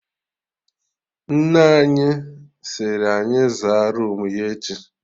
Nne anyị siri anyị zaa roomu ya echi